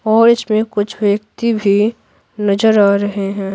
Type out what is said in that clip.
और इसमें कुछ व्यक्ति भी नजर आ रहे हैं।